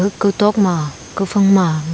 ekao tua ma kufamg ma.